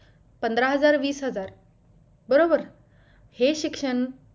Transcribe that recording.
पंधरा हजार वीस हजार बरोबर हे शिक्षण